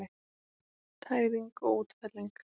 Tæring og útfelling